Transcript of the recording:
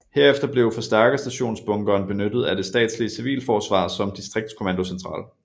Herefter blev Forstærkerstationsbunkeren benyttet af det statslige civilforsvar som distriktskommandocentral